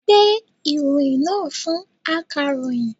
Gbe ìròyìn náà fún akàròyìn!